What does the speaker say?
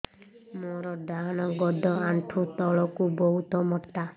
ମୋର ଡାହାଣ ଗୋଡ ଆଣ୍ଠୁ ତଳୁକୁ ବହୁତ ମୋଟା